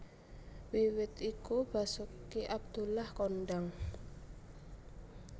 Wiwit iku Basoeki Abdullah kondhang